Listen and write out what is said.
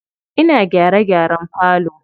Ina gyare gyaren falo.